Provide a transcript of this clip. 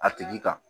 A tigi kan